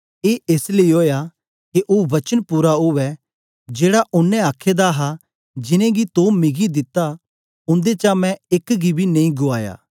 ए एस लेई ओया के ओ वचन पूरा उवै जेड़ा ओनें आखे दा हा जिनेंगी तो मिगी दिता उन्देचा मैं एक गी बी नेई गुआया